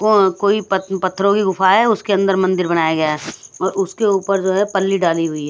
कोई पत्थरों की गुफा है उसके अंदर मंदिर बनाया गया है उसके ऊपर जो है पल्ली डाली हुई है।